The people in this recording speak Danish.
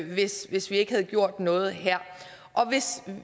hvis hvis vi ikke havde gjort noget her hvis